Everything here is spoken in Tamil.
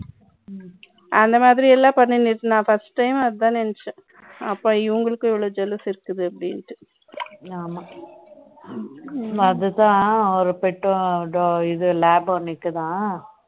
அந்த மாதிரி எல்லாம் பண்ணிட்டு இருக்கு first time அதான் நெனச்சேன் அப்போ இவங்களுக்கு இவ்வளவு jealous இருக்குது அதுதான் அவர் pet labrador dog இருக்குதா